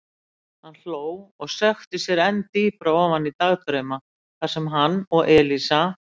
Hann hló og sökkti sér enn dýpra ofan í dagdrauma þar sem hann og Elísa.